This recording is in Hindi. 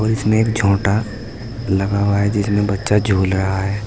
और इसमें एक झोंटा लगा हुआ है जिसमें बच्चा झूल रहा है।